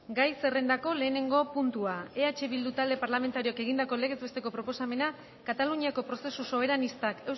gai zerrendako lehenengo puntua eh bildu talde parlamentarioak egindako legez besteko proposamena kataluniako prozesu soberanistak